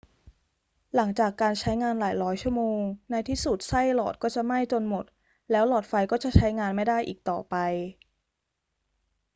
หลังจากการใช้งานหลายร้อยชั่วโมง ในที่สุดไส้หลอดก็จะไหม้จนหมด แล้วหลอดไฟก็จะใช้งานไม่ได้อีกต่อไป